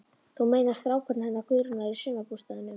Þú meinar strákurinn hennar Guðrúnar í sumarbústaðnum?